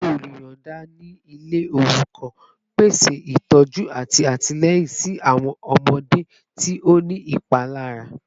Adebayor oluyọọda ni ile orukan, pese itọju ati atilẹyin si awọn ọmọde ti o ni ipalara